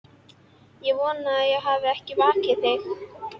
Ég vona ég hafi ekki vakið þig.